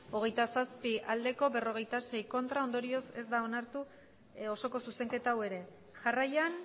hogeita zazpi ez berrogeita sei ondorioz ez da onartu osoko zuzenketa hau ere jarraian